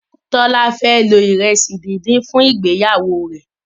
Tola fẹ lo iresi dín dín fún ìgbéyàwó rẹ